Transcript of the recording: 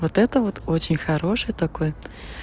вот это вот очень хороший такой